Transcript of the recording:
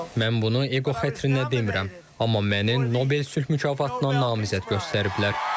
Mən bunu eqo xətrinə demirəm, amma məni Nobel sülh mükafatına namizəd göstəriblər.